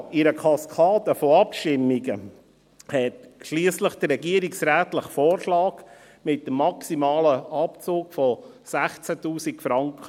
In einer Kaskade von Abstimmungen obsiegte schliesslich der regierungsrätliche Vorschlag mit dem maximalen Abzug von 16’000 Franken.